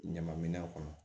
Ɲama minɛ kɔnɔ